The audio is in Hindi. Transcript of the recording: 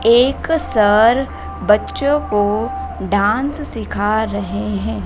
एक सर बच्चों को डांस सिखा रहे है।